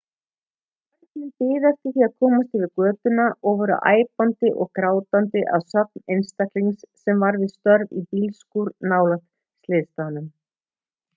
börnin biðu eftir því að komast yfir götuna og voru æpandi og grátandi að sögn einstaklings sem var við störf í bílskúr nálægt slysstaðnum